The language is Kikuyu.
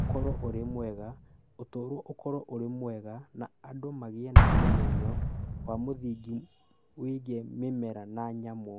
ũkorũo ũrĩ mwega, ũtũũro ũkorũo ũrĩ mwega, na andũ magĩe na ũmenyo wa mũthingi wĩgiĩ mĩmera na nyamũ.